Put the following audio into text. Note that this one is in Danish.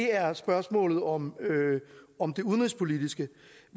er spørgsmålet om om det udenrigspolitiske